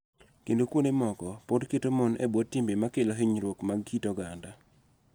Kendo kuonde moko pod keto mon e bwo timbe ma kelo hinyruok mag kit oganda.